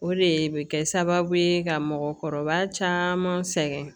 O de bɛ kɛ sababu ye ka mɔgɔkɔrɔba caman sɛgɛn